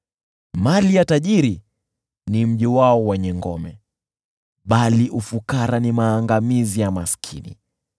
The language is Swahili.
Mali ya tajiri ni mji wake wenye ngome, bali ufukara ni maangamizi ya maskini.